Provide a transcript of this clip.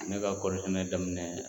Ne ka kɔɔri sɛnɛ daminɛ